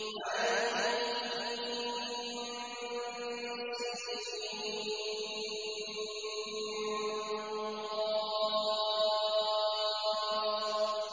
عسق